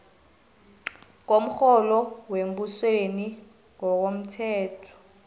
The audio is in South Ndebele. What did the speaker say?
komrholo wembusweni ngokomthetho